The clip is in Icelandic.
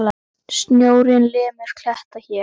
Sjórinn lemur kletta hér.